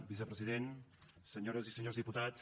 vicepresident senyores i senyors diputats